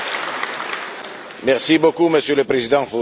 Merci beaucoup, Monsieur le Président, pour votre discours.